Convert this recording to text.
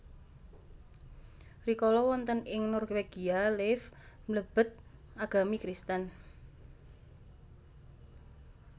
Rikala wonten ing Norwegia Leif mlebet agami Kristen